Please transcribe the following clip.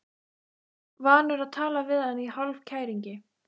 Vanur að tala við hana í hálfkæringi.